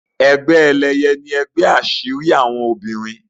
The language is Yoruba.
Egbe Eléye ní ègbé asiri àwọn obìrin.